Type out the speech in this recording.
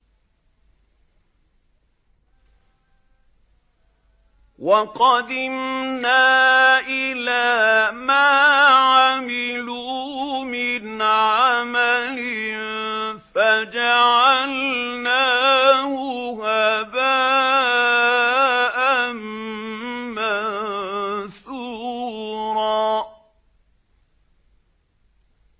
وَقَدِمْنَا إِلَىٰ مَا عَمِلُوا مِنْ عَمَلٍ فَجَعَلْنَاهُ هَبَاءً مَّنثُورًا